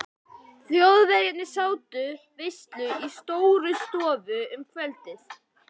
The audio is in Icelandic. Þjóðverjarnir sátu veislu í Stórustofu um kvöldið.